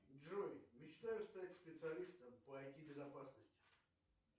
джой мечтаю стать специалистом по ай ти безопасности